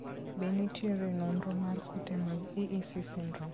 Be nitiere nonro mar kute mag EEC syndrome?